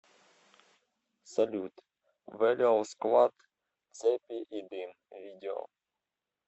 салют вэлиал сквад цепи и дым видео